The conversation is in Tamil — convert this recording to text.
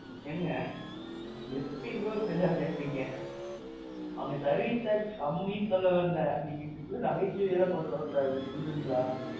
ஏனுங்க. எப்பிடி bro இப்பிடி எல்லாம் பேசுறீங்க. அங்க service charge கம்மின்னு சொல்ல வந்தேன். அதுக்கு நீங்க நகைச்சுவை எல்லாம் கொண்டு வர கூடாது புரிஞ்சதுங்களா?